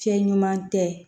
Fiɲɛ ɲuman tɛ